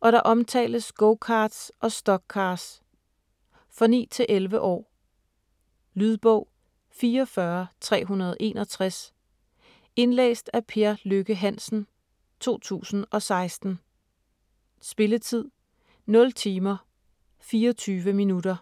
og der omtales go-carts og stock-cars. For 9-11 år. Lydbog 44361 Indlæst af Per Lykke Hansen, 2016. Spilletid: 0 timer, 24 minutter.